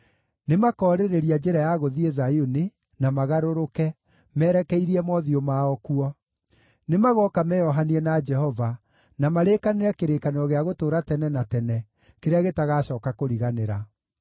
“Nĩmakoorĩrĩria njĩra ya gũthiĩ Zayuni, na magarũrũke, merekeirie mothiũ mao kuo. Nĩmagooka meeohanie na Jehova, na marĩkanĩre kĩrĩkanĩro gĩa gũtũũra tene na tene kĩrĩa gĩtagacooka kũriganĩra.